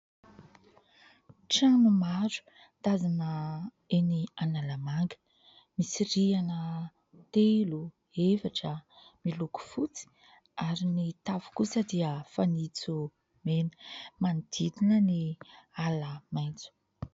Trano maro tazana eny Analamanga, misy rihana telo, efatra, miloko fotsy ary ny tafo kosa dia fanitso mena manodidina ny ala maitso.